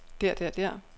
der der der